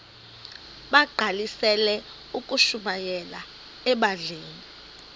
bagqalisele ukushumayela ebandleni